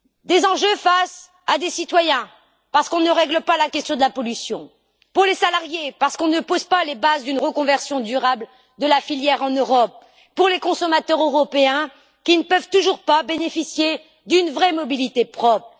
Des enjeux qui concernent les citoyens, puisqu'on ne règle pas la question de la pollution, les salariés, puisqu'on ne pose pas les bases d'une reconversion durable de la filière en Europe, et les consommateurs européens, qui ne peuvent toujours pas bénéficier d'une vraie mobilité propre.